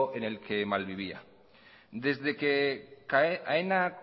en el que malvivía desde que aena